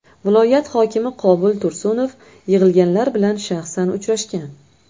Viloyat hokimi Qobul Tursunov yig‘ilganlar bilan shaxsan uchrashgan.